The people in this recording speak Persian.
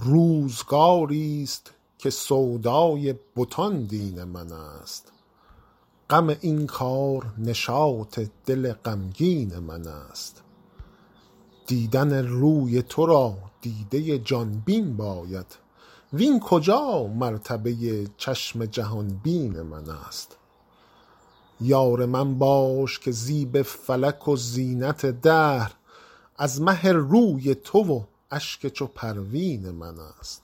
روزگاری ست که سودای بتان دین من است غم این کار نشاط دل غمگین من است دیدن روی تو را دیده ی جان بین باید وین کجا مرتبه ی چشم جهان بین من است یار من باش که زیب فلک و زینت دهر از مه روی تو و اشک چو پروین من است